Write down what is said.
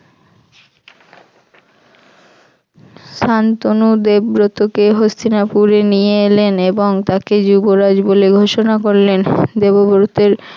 শান্তনু দেবব্রতকে হস্তিনাপুরে নিয়ে এলেন এবং তাকে যুবরাজ বলে ঘোষণা করলেন দেবব্রতের